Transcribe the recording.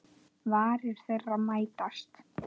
Varir þeirra mætast.